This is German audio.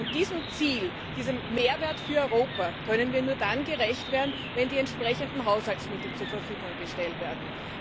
Und diesem Ziel, diesem Mehrwert für Europa, können wir nur dann gerecht werden, wenn die entsprechenden Haushaltsmittel zur Verfügung gestellt werden.